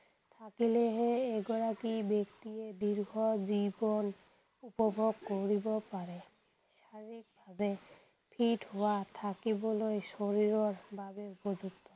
থাকিলেহে এগৰাকী ব্যক্তিয়ে দীৰ্ঘ জীৱন উপভোগ কৰিব পাৰে। শাৰীৰিক ভাৱে fit হোৱা থাকিবলৈ শৰীৰৰ বাবে উপযুক্ত